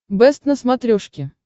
бэст на смотрешке